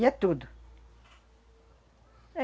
E é tudo.